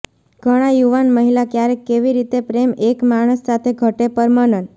ઘણા યુવાન મહિલા ક્યારેક કેવી રીતે પ્રેમ એક માણસ સાથે ઘટે પર મનન